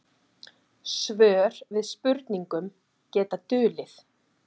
Svör við spurningum geta dulið.